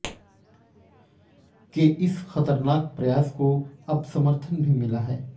के इस खतरनाक प्रयास को अब समर्थन भी मिला है